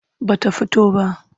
Ba ta fito ba.